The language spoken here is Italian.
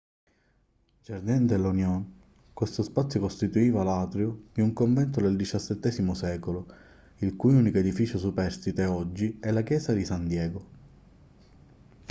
jardín de la unión. questo spazio costituiva l'atrio di un convento del xvii secolo il cui unico edificio superstite oggi è la chiesa di san diego